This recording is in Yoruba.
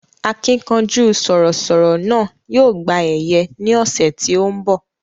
Akínkanjú sọ̀rọ̀ sọ̀rọ̀ náà yóò gba ẹ̀yẹ ní ọ̀sẹ̀ tí ó ń bọ̀